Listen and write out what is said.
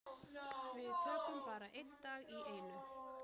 Við tökum bara einn dag í einu.